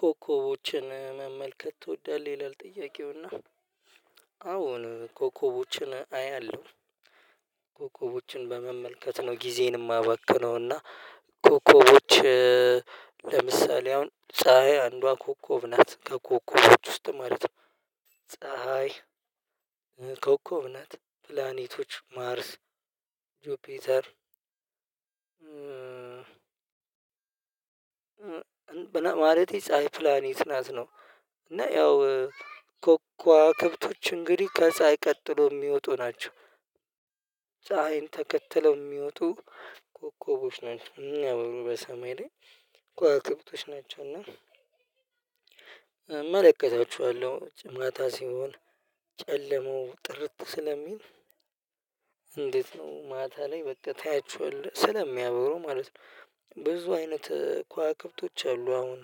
ኮከቦችን መመልከት ትወዳለህ? ይላል ጥያቄውና አሁን ኮኮቦችን አያለሁ ኮኮቦችን በመመልከት ነው ጊዜን የማበክነው እና ኮከቦች ለምሳሌ አሁን ፀሀይ አንዷ ኮከብ ናት። ከኮከቦች ውስጥ ማለት ነው ፀሀይ ኮከብ ናት። ፕላኔቶች፤ ማርስ፤ ጆፒተር ማለት የፀሀይ ፕላኔት ናት ነው። እና ያው ከዋክብቶች እንግዲህ ከፀሀይ ቀጥሎ የሚወጡ ናቸው ፀሀይን ተከትለው የሚወጡ ኮከቦች ናቸው በሰማይ ላይ እኮ አቅርቶች ናቸው እና እመለከታቸዋለሁ። ማታ ሲሆን ጨለማው ጥርት ስለሚል እንዴት ነው ማታ ላይ በቃ ታያችኋለህ ስለሚያብሩ ማለት ነው ብዙ አይነት ከዋክብቶች አሉ አሁን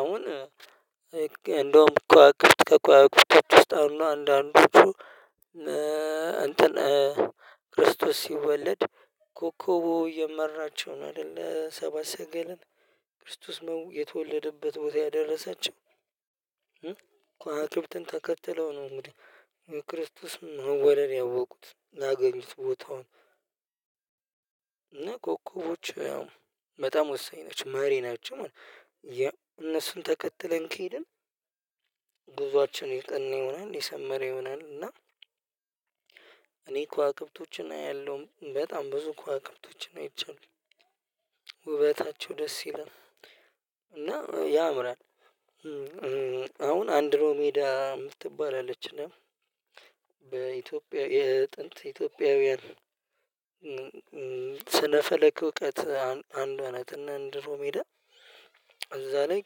አሁን እንደውም ከዋክብት ከከዋክብቶቹውስጥ አሁን አንዳንዶቹ እንትን ክርስቶስ ሲወለድ ኮከብ እየመራቸውን አይደለ ሰባ ሰገለን ክርስቶስ የተወለደበት ቦታ ያደረሳቸው ያደረሰችው ከዋክብተን ተከተለው ነው እንግዲህ የክርስቶስን መወደድ ያወቁት አገኙት ቦታውን እና ኮከቦች ያው በጣም ወሳኝ ናቸው። መሪ ናቸው ማለት ነው። እነሱን ተከትለን ከሄድን ጉዞአችን ነየጠና ይሆናል የሰመረ ይሆናል እና እኔ ከዋክብቶች እናያለሁ። በጣም ብዙ ከዋክብቶች አይቻለሁ ውበታቸው ደስ ይላል እና ያምራል አሁን አንድሮሜዳ የምትባል አለች እና በኢትዮጵያ የጥንት ኢትዮጵያዊያን ስነፈለክ እውቀት አንዷ ናት እና አንድ ሮሜዳ ሄ እዛ ላይ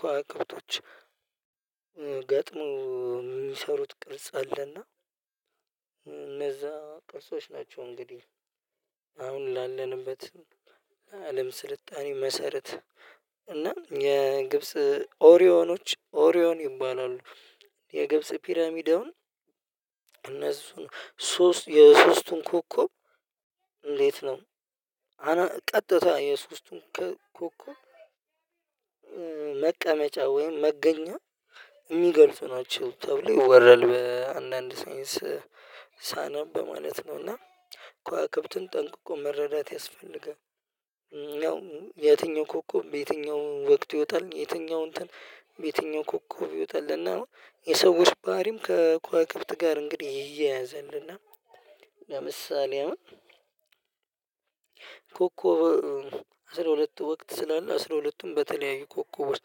ከዋክብቶች ገጥሞ የሚሰሩት ቅርጽ አለና እነዛ ቅርጾች ናቸው እንግዲህ አሁን ላለንበት አለም ስልጣኔ መሰረት እና የግብጽ ኦሪዮኖች ኦሪዮን ይባላሉ። የግብጽ ፒራሚድ አሁን እነሱን ሶስት የሶስቱን ኮከብ እንዴት ነው አና ቀጥታ የሶስቱን ኮከብ መቀመጫ? ወይም መገኛ የሚገልጹ ናቸው ተብሎ ይወረል በአንዳንድ ሳይንስ ሳነብ ማለት ነው እና ከዋክብትን ጠንቅቆ መረዳት ያስፈልጋል። ያው የትኛው ኮከብ በየትኛው ወቅት ይወጣ፤ የትኛው እንትን በየትኛው ኮከብ ይወጣልና የሰዎች ባህሪም ከኳይ ክብት ጋር እንግዲህ ይያያዘልና ለምሳሌ ኮኮብ አስራ ሁለቱ ወቅት ስላለ አስራ ሁለቱም በተለያዩ ኮከቦች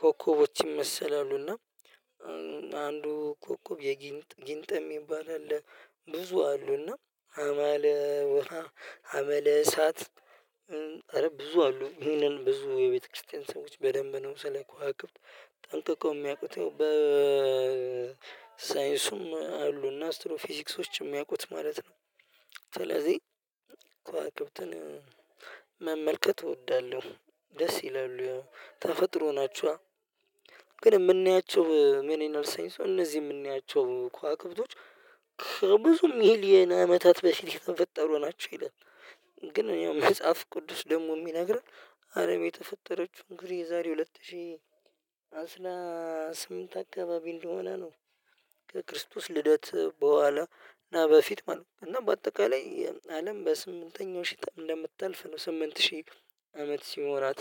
ኮከቦች ይመሰላሉ እና አንዱ ኮከብ የጊንጥ ጊንጥ የሚባል አለ ብዙ አሉና አማለ ውሃ አመለ ኧረ ብዙ አሉ። ይህንን ብዙ የቤተክርስቲያን ሰዎች በደንብ ነው ስለ ከዋቅብት ጠንቅቀው የሚያውቁት። በሳይንሱም አሉ እና አስትሮ ፊዚክሶችም የሚያውቁት ማለት ነው ስለዚህ ከዋክብት መመልከት እወዳለሁ ደስ ይላሉ ተፈጥሮ ናቸዋ። ግን የምናያቸው ምን ይላል ሳይንሱ እነዚህ የምናያቸው ኮከቦች ከብዙ ሚሊየን አመታት በፊት የተፈጠሩ ናቸው ይላል። ግን እኔ ያው መጽሐፍ ቅዱስ ደግሞ የሚነግረን አረም የተፈጠረችው እንግዲህ የዛሬ ሁለት ሺህ አስራ ስምንት አካባቢ እንደሆነ ነው። ከክርስቶስ ልደት በኋላ እና በፊት ማለት ነው እና በአጠቃላይ አለም በስምንተኛው ሺህ እንደምታልፍ ነው ስምንት ሺህ አመት ሲሞራት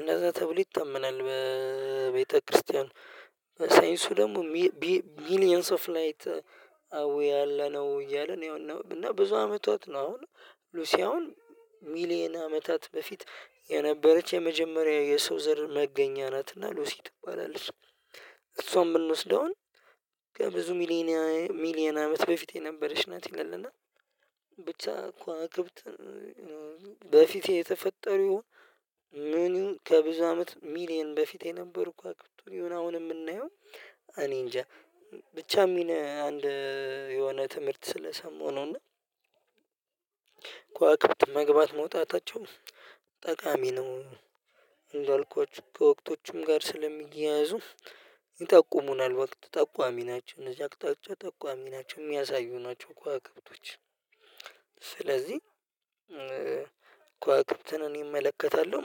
እንደዛ ተብሎ ይታመናል በቤተክርስቲያን ደግሞ ሚሊየንስ ኦፍ ላይት አዎ ያለነው እያለ ነው ያው እና ብዙ አመታት ነው አሁን ሉሲ አሁን ሚሊየን አመታት በፊት የነበረች የመጀመሪያ የሰው ዘር መገኛ ናት እና ሉሲ ትባላለህ እሷም ብንወስደውን ከብዙ ሚሊየን ሚሊየን አመት በፊት የነበረች ናት ይላል እና ብቻ ከዋክብት በፊቴ የተፈጠሩ ይሆን ምን ይሁን ከብዙ አመት ሚሊየን በፊቴ የነበር ከዋክብት የየሆነ አሁን የምናየው እኔ እንጃ ብቻ የሚል አንድ የሆነ ትምህርት ስለሰማሁ ነውና ከዋክብት መግባት መውጣታቸው ጠቃሚ ነው እንዳልኳችሁ፤ ከወቅቶቹም ጋር ስለሚያያዙ ይጠቁሙናል ወቅት ተቋሚ ናቸው እዚህ አቅጣጫ ተቋሚ ናቸው የሚያሳዩ ናቸው ከወክብቶች ስለዚህ ከዋክብትን እመለከታለሁ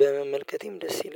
በመመልከቴም ደስ ይለኛል